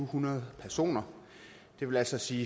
hundrede personer det vil altså sige